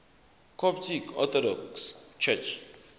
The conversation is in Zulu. coptic orthodox church